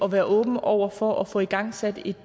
være åben over for at få igangsat et